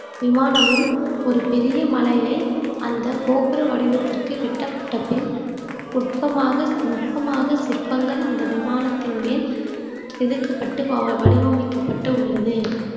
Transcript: விமானமும் ஒரு பெரிய மலையை அந்த கோபுர வடிவத்திற்கு கட்டப்பட்ட பின் நுட்பமாக நுட்பமாக சிற்பங்கள் அந்த விமானத்தின் மேல் செதுக்கப்பட்டு வ~ வடிவமைக்கப்பட்டு உள்ளது